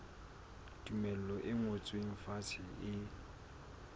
tumello e ngotsweng fatshe e